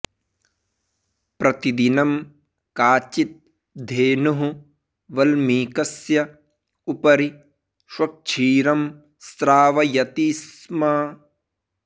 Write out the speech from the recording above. प्रतिदिनं काचित् धेनुः वल्मीकस्य उपरि स्वक्षीरं स्रावयति स्म